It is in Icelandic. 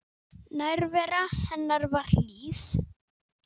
Nærvera hennar var hlý.